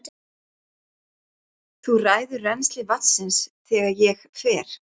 Þú ræður rennsli vatnsins þegar ég fer.